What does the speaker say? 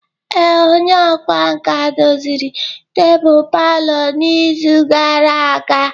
Ee, onye ọkwá nkà doziri tebụl palọ n'izu gara aga.